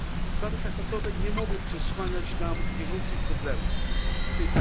Sprawy traktatowe nie mogą przesłaniać nam bieżących problemów, tj.